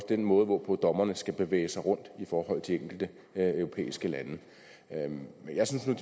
den måde hvorpå dommerne skal bevæge sig rundt i forhold til enkelte europæiske lande lande